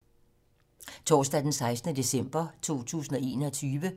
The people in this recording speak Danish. Torsdag d. 16. december 2021